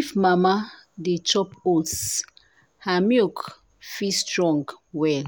if mama dey chop oats her milk fit strong well.